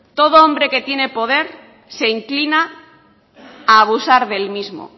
todo hombre que tiene poder se inclina a abusar del mismo